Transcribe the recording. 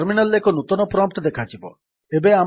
terminal ରେ ଏକ ନୂତନ ପ୍ରମ୍ପ୍ଟ୍ ଦେଖାଯିବ